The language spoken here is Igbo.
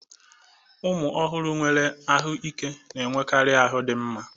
Ụmụ ọhụrụ nwere ahụike n'enwekarị ahu dị mma